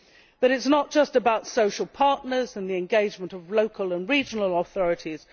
It is not just about social partners and the engagement of local and regional authorities